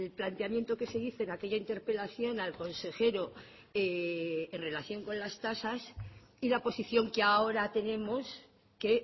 planteamiento que se dice en aquella interpelación al consejero en relación con las tasas y la posición que ahora tenemos que